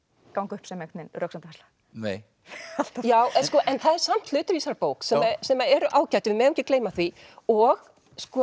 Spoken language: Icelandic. ganga upp sem röksemdafærsla nei það eru samt hlutir í þessari bók sem eru ágætir við megum ekki gleyma því og